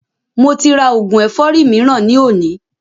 Mo ti rà oògùn ẹ̀fọ́rì mìíràn ni òní